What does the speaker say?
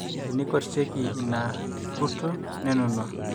teneikorrieki ina kurto nenunua